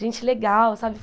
Gente legal, sabe?